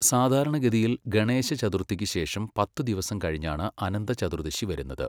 സാധാരണഗതിയിൽ, ഗണേശ ചതുർത്ഥിക്ക് ശേഷം പത്ത് ദിവസം കഴിഞ്ഞാണ് അനന്ത ചതുർദശി വരുന്നത്.